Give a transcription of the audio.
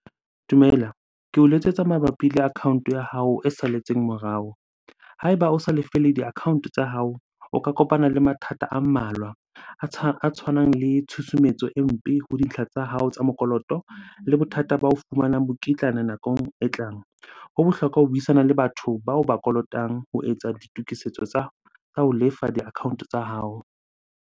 Dumela. Ke o letsetsa mabapi le account-o ya hao e salletseng morao. Ha eba o sa lefele di-account tsa hao, o ka kopana le mathata a mmalwa. A tshwanang le tshusumetso e mpe ho tsa hao tsa mokoloto le bothata ba ho fumanang mokitlane nakong e tlang. Ho bohlokwa ho buisana le batho bao ba kolotang ho etsa ditokisetso tsa ho lefa di-account-o tsa hao.